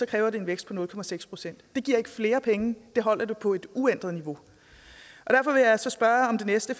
kræver det en vækst på nul procent det giver ikke flere penge det holder det på et uændret niveau derfor vil jeg så spørge om det næste